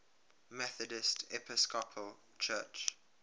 methodist episcopal church